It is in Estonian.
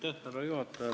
Härra juhataja!